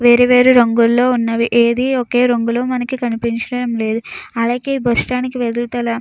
వేరువేరు రంగుల్లోనే ఉన్నది. ఏది ఒకే రంగులోనే మనకి కనిపించడం లేదు. అలాగే బస్సు స్టాండ్ ఎదురుగాల --